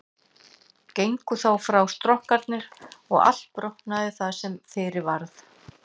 Gengu þá frá stokkarnir og allt brotnaði það sem fyrir varð.